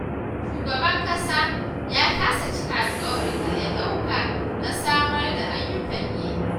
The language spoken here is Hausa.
Shugaban ƙasa ya kasa cika alƙawarin da ya ɗauka na samar da ayyukan yi